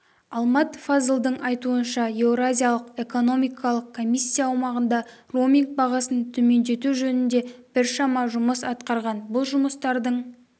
алмат фазылдың айтуынша еуразиялық экономикалық комиссия аумағында роуминг бағасын төмендету жөнінде біршама жұмыс атқарған бұл жұмыстардың